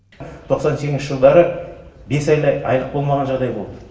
тоқсан сегізінші жылдары бес айдай айлық болмаған жағдай болды